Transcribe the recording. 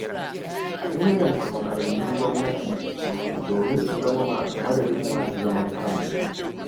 A inganta makarantun gwamnati domin su zama madadin masu zaman kansu.